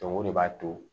o de b'a to